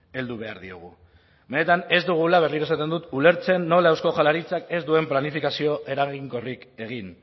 heldu behar diogu benetan ez dugula berriro esaten dut ulertzen nola eusko jaularitzak ez duen planifikazio eraginkorrik egin